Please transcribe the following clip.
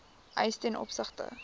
eis ten opsigte